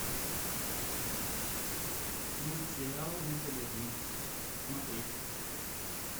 мультсериал ну погоди смотреть